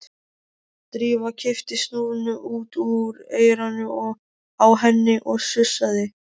Drífa kippti snúrunni út úr eyranu á henni og sussaði.